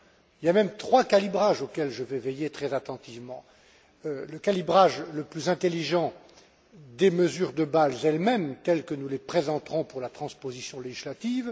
Il y a même trois calibrages auxquels je vais veiller très attentivement Le calibrage le plus intelligent des mesures de Bâle elles mêmes, telles que nous les présenterons pour la transposition législative.